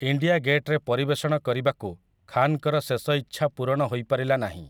India ଗେଟ୍‌ରେ ପରିବେଷଣ କରିବାକୁ ଖାନ୍‌ଙ୍କର ଶେଷ ଇଚ୍ଛା ପୂରଣ ହୋଇପାରିଲା ନାହିଁ ।